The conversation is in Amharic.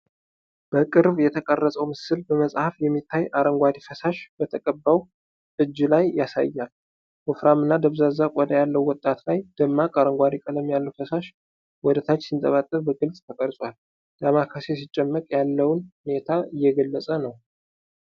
በቅርብ የተቀረጸው ምስል በመጸየፍ የሚታይ፣ አረንጓዴ ፈሳሽ በተቀባው እጅ ላይ ያሳያል። ወፍራምና ደብዛዛ ቆዳ ያለው ጣት ላይ፣ ደማቅ አረንጓዴ ቀለም ያለው ፈሳሽ ወደ ታች ሲንጠባጠብ በግልጽ ተቀርጿል። ዳማካሴ ሲጨመቅ ያለውን ሁኔታ እየገለፀ ነው።